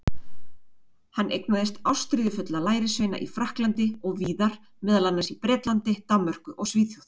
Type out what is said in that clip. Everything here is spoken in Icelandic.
Hann eignaðist ástríðufulla lærisveina í Frakklandi og víðar, meðal annars í Bretlandi, Danmörku og Svíþjóð.